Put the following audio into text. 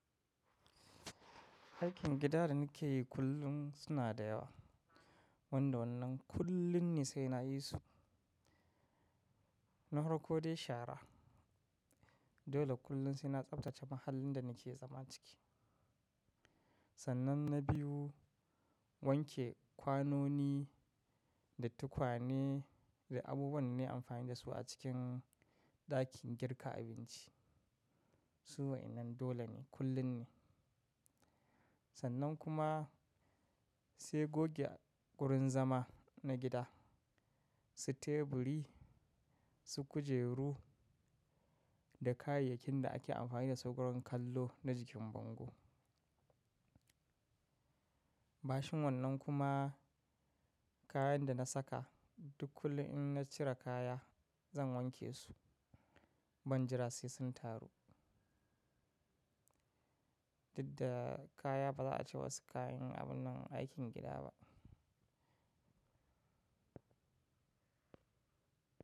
Aikin gida da nake kullum suna da yawa. Wanda wannan kullun ne sai na yi su. Na farko dai shara. Dole kullun sai na tsaftace mahallin da nake zama ciki. Sannan na biyu wanke kwanoni da tukane da abubuwan da nayi amfani da su a cikin ɗakin girka abinci. Su wayennan dole ne kullum ne. Sannan kuma sai goge wurin zama na gida, su teburi, su kujeru da kayayyakin da ake amfani dasu gurin kallo na jikin bango. Bacin wannan kuma kayan da na saka duk kullum in na cire kaya zan wanke su. Ban jira sai sun taru. Didda kaya ba za a ce wasu kayan abun nan aikin gida ba.